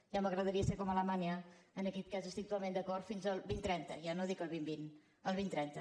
ja m’agradaria ser com alemanya en aquest hi estic totalment d’acord fins al dos mil trenta ja no dic el dos mil vint el dos mil trenta